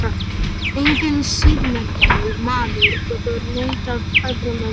Enginn siðmenntaður maður getur neitað öðrum um vatn.